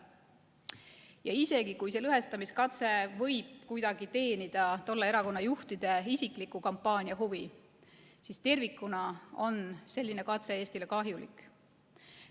Ja isegi kui lõhestamiskatse võib kuidagi teenida tolle erakonna juhtide isikliku kampaania huvi, siis tervikuna on selline katse Eestile kahjulik.